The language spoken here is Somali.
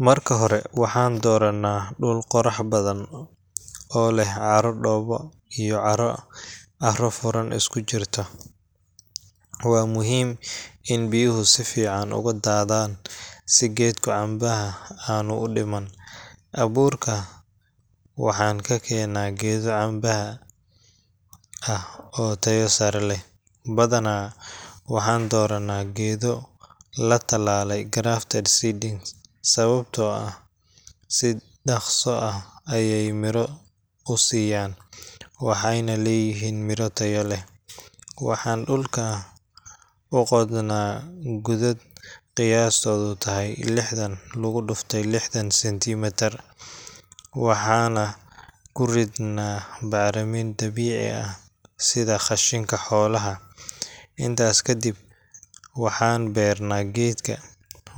Marka hore, waxaan doorannaa dhul qorrax badan oo leh carro dhoobo iyo carro carro-furan isku dhex jirta. Waa muhiim in biyuhu si fiican uga daadhaan si geedka cambaha aanu u dhiman. Abuurka waxaan ka keennaa geedo cambaha ah oo tayo sare leh, badanaa waxaan doorannaa geedo la tallaalay grafted seedlings, sababtoo ah si dhakhso ah ayay miro u siiyaan, waxayna leeyihiin miro tayo leh. Waxaan dhulka u qodnaa godad qiyaastoodu tahay lixdan lagu dhuftay lixdan centimetre, waxaana ku ridnaa bacrimin dabiici ah sida qashinka xoolaha. Intaas kadib, waxaan beernaa geedka,